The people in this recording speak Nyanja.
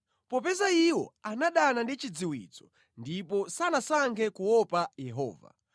Popeza iwo anadana ndi chidziwitso ndipo sanasankhe kuopa Yehova,